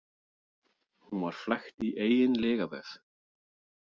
Hún var flækt í eigin lygavef.